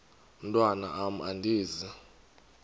mntwan am andizi